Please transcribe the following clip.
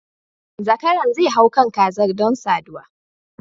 Zakaran zai hau kan kazar don saduwa